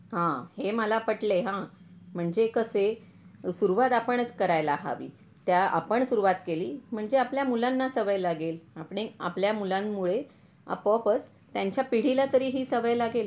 हा हे मला पटलंय हा म्हणजे कसे सुरुवात आपणच करायला हवी त्या आपण सुरुवात केली म्हणजे आपल्या मुलांना सवय लागेल आपणे आपल्या मुलांमुळे आपोआपच त्यांच्या पिढीला तरी हि सवय लागेल.